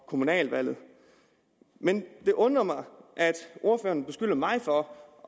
kommunalvalget men det undrer mig at ordføreren beskylder mig for